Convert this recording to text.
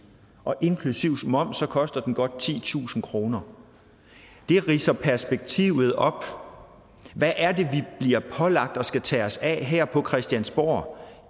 inklusive moms koster den godt titusind kroner det ridser perspektivet op hvad er det vi bliver pålagt at skulle tage os af her på christiansborg